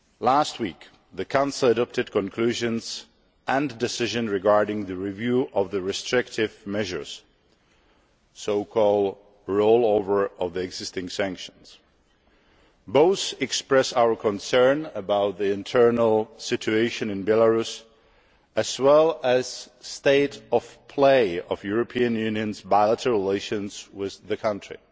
Last week the Council adopted conclusions and decisions regarding the review of restrictive measures the so called rollover of the existing sanctions. Both express our concern about the internal situation in Belarus as well as the state of play of the European Union's bilateral relations with the country.